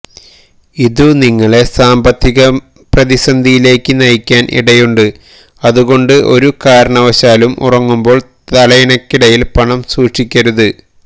ഇത് നിങ്ങളെ സാമ്പത്തിക പ്രതിസന്ധിയിലേക്ക് നയിക്കാൻ ഇടയുണ്ട് അതുകൊണ്ട് ഒരു കാരണവശാലും ഉറങ്ങുമ്പോൾ തലയിണക്കടിയിൽ പണം സൂക്ഷിക്കരുത്